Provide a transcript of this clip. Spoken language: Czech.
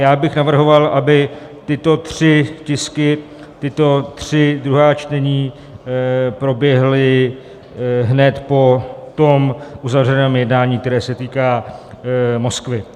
Já bych navrhoval, aby tyto tři tisky, tato tři druhá čtení, proběhla hned po tom uzavřeném jednání, které se týká Moskvy.